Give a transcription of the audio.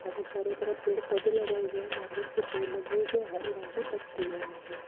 यहा पर चारो तरफ पेड़ पौधे लगाय गय है नारियल के पेड़ भी है जो हरे रंग की पत्ती है उनकी।